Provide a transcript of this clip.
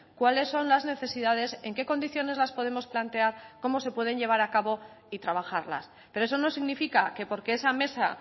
cuáles son las necesidades en qué condiciones las podemos plantear cómo se pueden llevar a cabo y trabajarlas pero eso no significa que porque esa mesa